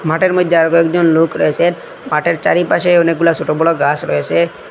মাঠের মইধ্যে আরও কয়েকজন লোক রয়েসেন মাঠের চারিপাশে অনেকগুলা সোট বড়ো গাস রয়েসে ।